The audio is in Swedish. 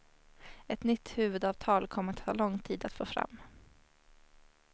Ett nytt huvudavtal kommer att ta lång tid att få fram.